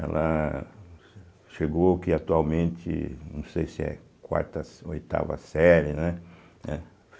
Ela chegou aqui atualmente, não sei se é quarta se oitava série, né? eh